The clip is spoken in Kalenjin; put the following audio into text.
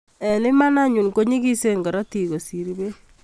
Eng iman anyun konyigisen korotiik kosir beek.